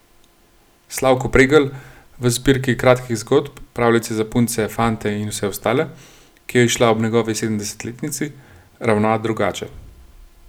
Slavko Pregl v zbirki kratkih zgodb Pravljice za punce, fante in vse ostale, ki je izšla ob njegovi sedemdesetletnici, ravna drugače.